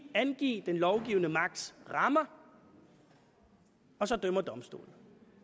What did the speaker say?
at angive den lovgivende magts rammer og så dømmer domstolene